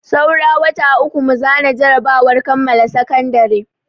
Saura wata uku mu zana jarabawar kammala sakandare.